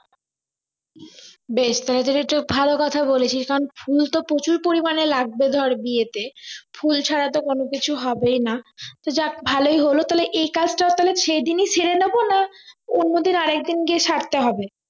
বেশ তাহলে তো ভালো কথা বলেছিস কারণ ফুল তো প্রচুর পরিমানে লাগবে ধর বিয়েতে ফুল ছাড়া তো কোনো কিছু হবেই না তো যাক ভালোই হল তবে এই কাজটা তাহলে সেই দিনই সেরে নেব না অন্য দিন আরেক দিন গিয়ে সারতে হবে